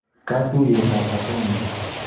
Katuyet ab Azamia